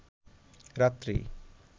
রাত্রি